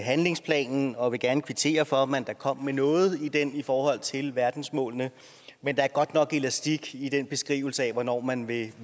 handlingsplanen og vil gerne kvittere for at man da kom med noget i den i forhold til verdensmålene men der er godt nok elastik i den beskrivelse af hvornår man vil